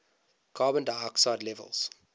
carbon dioxide levels